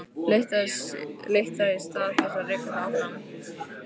Leitt það í stað þess að reka það áfram.